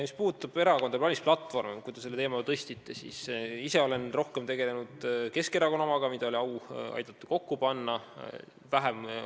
Mis puudutab erakondade valimisplatvorme – selle teema te üles tõstsite –, siis ma olen rohkem tegelenud Keskerakonna omaga, mida mul oli au aidata kokku panna.